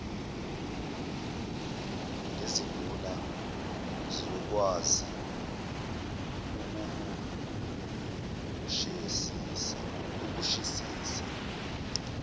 nezinduna siyokwazi ukuwusheshisa